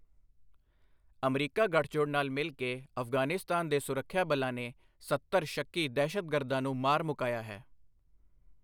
America ਗੱਠਜੋੜ ਨਾਲ ਮਿਲ ਕੇ ਅਫ਼ਗ਼ਾਨਿਸਤਾਨ ਦੇ ਸੁਰੱਖਿਆ ਬਲਾਂ ਨੇ ਸੱਤਰ ਸ਼ੱਕੀ ਦਹਿਸ਼ਤਗਰਦਾਂ ਨੂੰ ਮਾਰ ਮੁਕਾਇਆ ਹੈ।